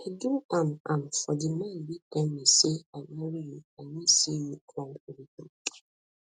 i do am am for di man wey tell me say i marry you i wan see you climb to di top